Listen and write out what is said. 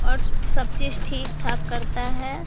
और सब चीज ठीक ठाक करता है।